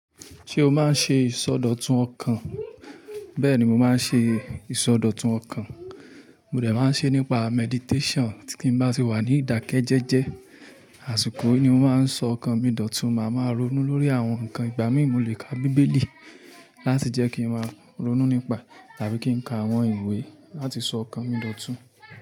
Ṣé o máa ń ṣe ìsọdọ̀tun ọkàn? Bẹ́ẹ̀ni mo máa ń ṣe ìsọdọ̀tun ọkàn. Mo dẹ̀ máa ń ṣe nípa meditation. Tí n bá tì wà ní ìdákẹ́jẹ́jẹ́, àsìkò yìí ni mo máa ń sọ ọkàn mi dòtun. Máa máa ronú lórí àwọn nǹkan ìgbámí, mo lè ka bíbélì láti jẹ́ kí n máa ronú nípa, tàbí kí n ka àwọn ìwé láti sọ ọkàn mi dòtun.